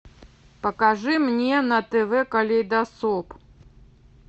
покажи мне на тв калейдоскоп